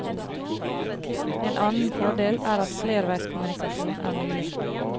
En annen fordel er at flerveiskommunikasjon er mulig.